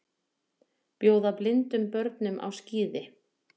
Bjóða blindum börnum á skíði